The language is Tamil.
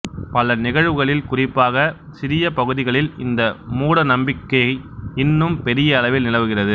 பல நிகழ்வுகளில் குறிப்பாக சிறிய பகுதிகளில் இந்த மூட நம்பிக்கை இன்னும் பெரிய அளவில் நிலவுகிறது